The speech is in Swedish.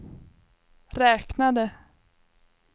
räknade